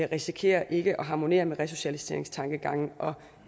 risikerer ikke at harmonere med resocialiseringstankegangen